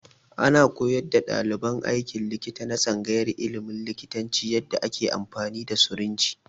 Ana koyar da ɗaliban aikin likita na tsangayar ilimin likitanci yanda ake amfani da sirinji